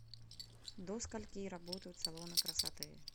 до скольки работают салоны красоты